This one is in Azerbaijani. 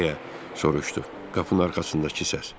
deyə soruşdu qapının arxasındakı səs.